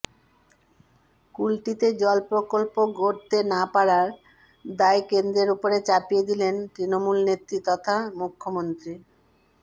কুলটিতে জল প্রকল্প গড়তে না পাড়ার দায় কেন্দ্রের উপরে চাপিয়ে দিলেন তৃণমূল নেত্রী তথা মুখ্যমন্ত্রী